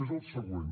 és el següent